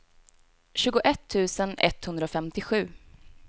tjugoett tusen etthundrafemtiosju